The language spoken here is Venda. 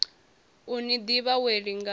u ni ḓivha wee lingani